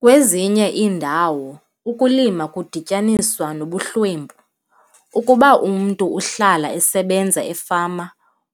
Kwezinye iindawo ukulima kudityaniswa nobuhlwempu. Ukuba umntu uhlala esebenza efama,